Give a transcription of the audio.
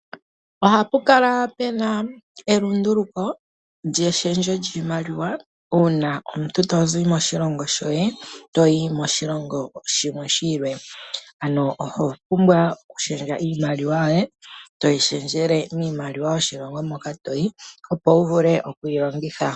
Ohapu kala puna elunduluko lyeshendjo lyiomaliwa uuna omuntu tozi moshilongo shoye toyi moshilongo shimwe shi ili. Ano oho pumbwa okushendja iimaliwa yoye toyi shendjele miimaliwa yoshilongo moka toyi, opo wu vule oku yilongitha.